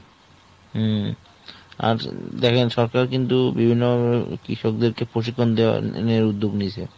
হুম আর দেখেন সরকার কিন্তু বিভিন্ন কৃষকদেরকে পশু পালন দেওয়া নিয়ে উদ্যোগ নিয়েছে।